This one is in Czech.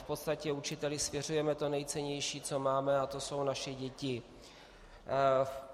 V podstatě učiteli svěřujeme to nejcennější, co máme, a to jsou naše děti.